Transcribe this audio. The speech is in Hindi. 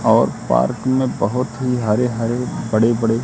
और पार्क में बहोत ही हरे हरे बड़े बड़े--